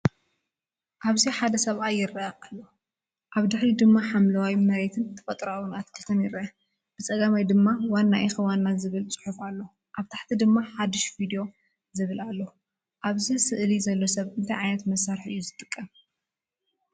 ኣብዚ ሓደ ሰብኣይ ይረአ ኣሎ። ኣብ ድሕሪት ድማ ሓምላይ መሬትን ተፈጥሮኣዊ ኣትክልትን ይረአ። ብ ጸጋማይ ድማ "ዋና ኢኪ ዋና" ዝብል ፅሑፍ ኣሎ። ኣብ ታሕቲ ድማ "ሓድሽ ቭድዮ" ዝብል ኣሎ። ኣብ ስእሊ ዘሎ ሰብ እንታይ ዓይነት መሳርሒ እዩ ዝጥቀም?